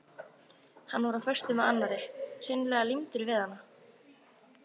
Hann var á föstu með annarri, hreinlega límdur við hana.